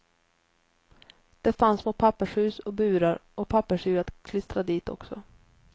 Det fanns små pappershus och burar och pappersdjur att klistra dit också.